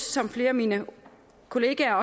som flere af mine kollegaer